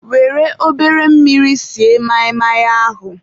were obere mmiri sie maị maị ahụ.